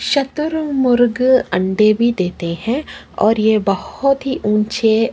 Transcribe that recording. शतुरमुर्ग अंडे भी देते है और ये बहुत ही ऊँचे --